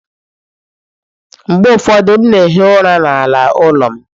Mgbe ụfọdụ, m na-ehi ụra n'ala ụlọ m.